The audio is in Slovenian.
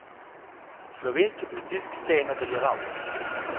Slovenski pritisk se je nadaljeval.